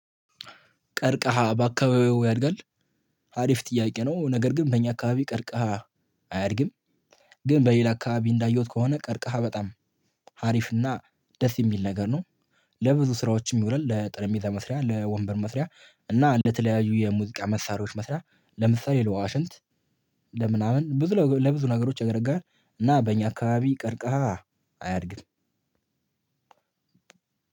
ቀርቀሃ በአካባቢዎ ያድጋል። አሪፍ ጥያቄ ነው ነገር ግን በእኛ አካባቢ ቀርቀሃ አያድግም። ግን በሌላ አካባቢ እንዳየሁት ከሆነ ቀርቀሃ በጣም አሪፍና ደስ የሚል ነገር ነው። ለብዙ ስራዎችም ይውለላ ለጥረጴዛ መስሪያ ለወንበር መስሪያ እና ለተለያዩ የሙዚቃ መሳሪያዎች መስሪያ ለምሳሌ ለዋሽንት ለምናምን ለብዙ ነገሮች ያገለግላል። እና በእኛ አካባቢ ቀርከሃ አያድግም።